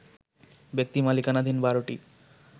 ব্যক্তি মালিকানাধীন ১২টি